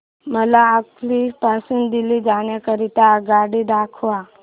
मला अंकलेश्वर पासून दिल्ली जाण्या करीता आगगाडी दाखवा